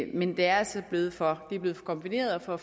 men det er altså blevet for kombineret og